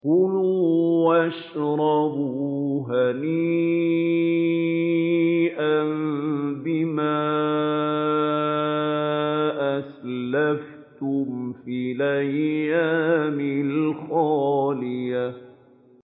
كُلُوا وَاشْرَبُوا هَنِيئًا بِمَا أَسْلَفْتُمْ فِي الْأَيَّامِ الْخَالِيَةِ